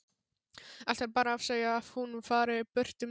Ætlar bara að segja að hún fari burt um tíma.